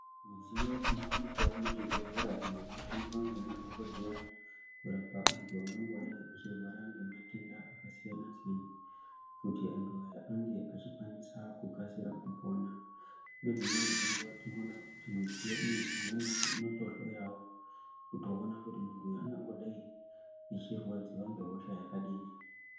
Midziyo ino wanikwawo mu zvibhedhlera iyo ino shandiswa nge madhokodheya kurapa antu angango dai achirwara nge matenda aka siyana siyana kuti antu aya ange achi kwanisa ku kasira kupona dzimweni dze nguva tino ona kuti midziyo iyi imweni yacho inoto hloyawo kuto ona kuti muntu ungangodai achi rwadziwa nge hosha yakadini.